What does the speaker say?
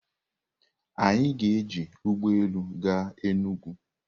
Anyị ga-eji ụgbọ elu gaa Enugwu.